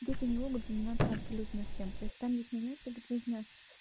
дети не могут заниматься абсолютно всем то есть там есть моменты как нужно